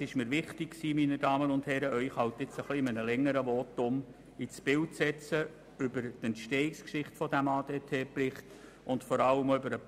Es war mir wichtig, Sie zuerst im Rahmen eines längeren Votums über die Entstehungsgeschichte dieses ADT-Berichts ins Bild zu setzen, und vor allem auch darüber,